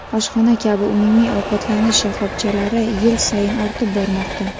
oshxona kabi umumiy ovqatlanish shoxobchalari yil sayin ortib bormoqda.